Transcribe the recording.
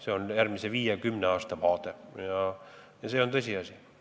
Selline on järgmise viie või kümne aasta vaade ja see on tõsiasi.